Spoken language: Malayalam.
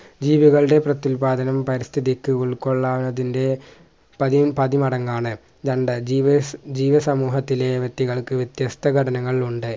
ജീവികളുടെ പ്രത്യുൽപാദനം പരിസ്ഥിക്ക് ഉൾക്കൊള്ളാന്നതിൻ്റെ പതിവ് പതിമടങ്ങാണ് രണ്ട് ജീവി ജീവിസമൂഹത്തിലെ വ്യക്തികൾക്ക് വിത്യസ്ത ഘടനകൾ ഉണ്ട്